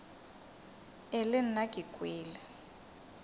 e le nna ke kwele